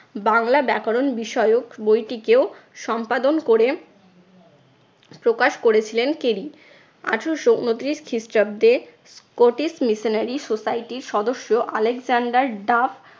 বাংলা ব্যাকরণ বিষয়ক বইটিকেও সম্পাদন করে প্রকাশ করেছিলেন কেলি। আঠারশো ঊনত্রিশ খ্রিস্টাব্দে scottish missionary society র সদস্য আলেকজেন্ডার ডাফ